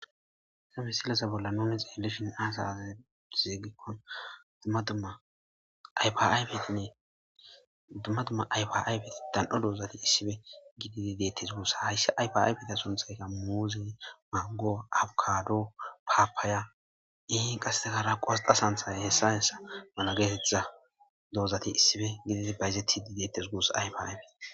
sa misilesa bolla noomexa elishin aasaza zeegikkon ynnedumma dumma aypaaybet dan7o doozati issife gididi deettes guussa haysse ypaaybeta sonthayka muuzey mango abkado paapaaya ihi qaseegara qosxa santhay hessa yensa mala geetetha doozati issife gididi bayzetidi deettes guusa ayfa aybet